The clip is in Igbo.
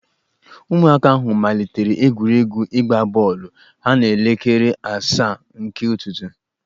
Ụmụaka ahụ malitere egwuregwu ịgba bọọlụ ha n'elekere asaa nke ụtụtụ.